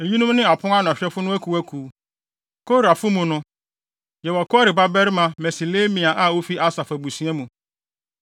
Eyinom ne apon ano ahwɛfo no akuwakuw: Korafo mu no, yɛwɔ Kore babarima Meselemia a ofi Asaf abusua mu.